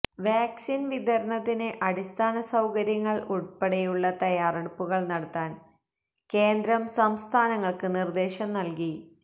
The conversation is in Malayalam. വാക്സിൻ വിതരണത്തിന് അടിസ്ഥാന സൌകര്യങ്ങൾ ഉൾപ്പടെയുള്ള തയ്യാറെടുപ്പുകൾ നടത്താൻ കേന്ദ്രം സംസ്ഥാനങ്ങൾക്ക് നിർദേശം നൽകി